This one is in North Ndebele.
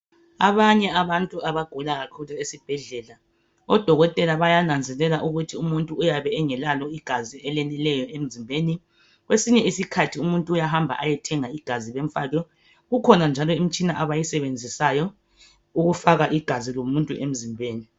Abanye abantu abagula kakhulu esibhedlela odokotela bayananzelela ukuthi umuntu uyabe engelalo igazi eleneleyo emzimbeni kwesinye isikhathi umuntu uyahamba eyethenga igazi bemfake kukhona njalo imitshina abayisebenzisayo ukufaka igazi lomuntu emzimbeni.